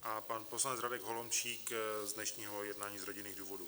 A pan poslanec Radek Holomčík z dnešního jednání z rodinných důvodů.